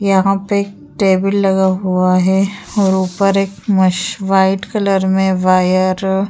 यहाँ पे एक टेबल लगा हुआ है और ऊपर एक मैश व्हाइट कलर में वायर --